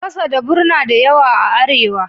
Fasadabur na da yawa a Arewa.